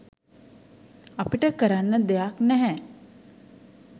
අපිට කරන්න දෙයක් නැහැ."